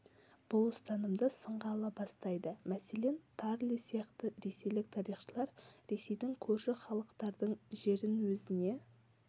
бұл ұстанымды сынға ала бастайды мәселен тарле сияқты ресейлік тарихшылар ресейдің көрші халықтардың жерін өзіне